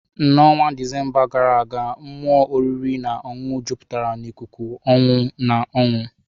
N'ọnwa Disemba gara aga, mmụọ oriri na ọṅụṅụ jupụtara n'ikuku ọṅụ na ọñụ.